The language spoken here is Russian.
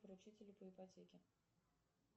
поручители по ипотеке